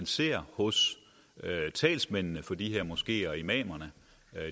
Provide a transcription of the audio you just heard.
ser hos talsmændene for de her moskeer og imamer